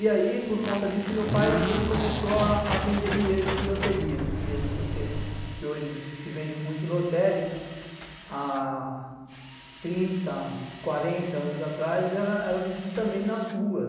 E aí, por conta disso, o meu pai começou a vender bilhetes de loteria, esses bilhetes que hoje se vende muito em lotérica, há trinta, quarenta anos atrás, era vendido também nas ruas.